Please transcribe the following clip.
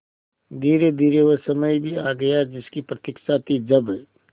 धीरेधीरे वह समय भी आ गया जिसकी प्रतिक्षा थी जब